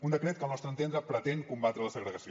un decret que al nostre entendre pretén combatre la segregació